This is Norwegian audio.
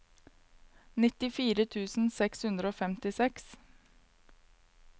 nittifire tusen seks hundre og femtiseks